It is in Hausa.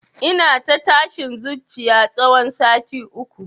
Ina ta tashin zuciya tsawon sati uku